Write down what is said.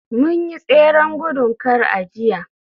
mun yi tseren gudun kar a jiya